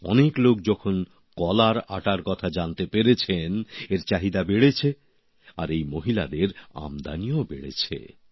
অনেক লোক যখন কলার আটার কথা জানতে পেরেছেন এর চাহিদা বেড়েছে আর এই মহিলাদের আমদানিও বেড়েছে